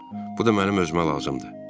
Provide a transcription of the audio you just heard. Bu da mənim özümə lazımdır.